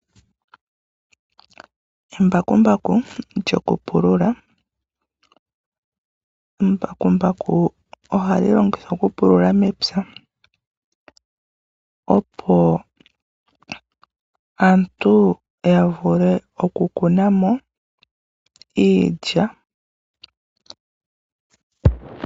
Embakumbaku lyokupulula, aantu ohaalongitha embakumbaku okupululitha omapya ngawo opo yavule okukunamo iikunomwa yomomapya.